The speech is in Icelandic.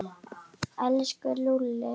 Elsku Lúlli.